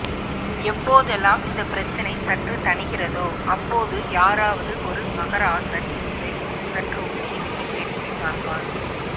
எப்போதெல்லாம் இந்தப் பிரச்சினை சற்று தணிகிறதோ அப்போது யாராவது ஒரு மகராசன் இதை சற்று ஊதி விட்டு வேடிக்கை பார்ப்பார்